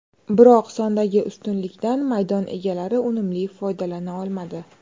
Biroq sondagi ustunlikdan maydon egalari unumli foydalana olmadi.